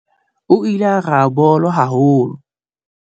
O ile a raha bolo haholo.